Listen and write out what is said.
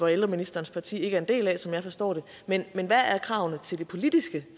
ældreministerens parti ikke er en del af sådan som jeg forstår det men hvad er er kravene til det politiske